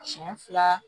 Siɲɛ fila